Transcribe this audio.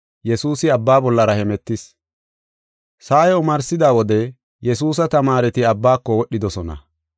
Sa7ay omarsida wode Yesuusa tamaareti abbaako wodhidosona.